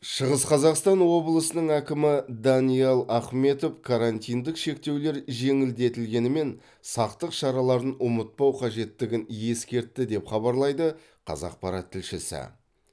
шығыс қазақстан облысының әкімі даниал ахметов карантиндік шектеулер жеңілдетілгенімен сақтық шараларын ұмытпау қажеттігін ескертті деп хабарлайды қазақпарат тілшісі